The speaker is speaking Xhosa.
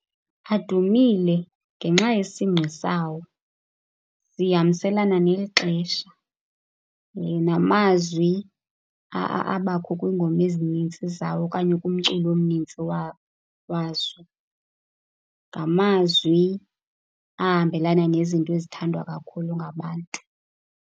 Adumile ngenxa yesingqi sawo. Zihambiselana nexesha namazwi abakho kwiingoma ezinintsi zawo okanye kumculo omnintsi wazo. Ngamazwi ahambelana nezinto ezithandwa kakhulu ngabantu.